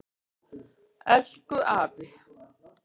Elku afi.